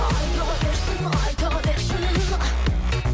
айта берсін айта берсін